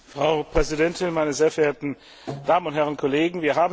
Frau Präsidentin, meine sehr verehrten Damen und Herren Kollegen!